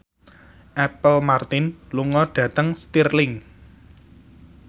Apple Martin lunga dhateng Stirling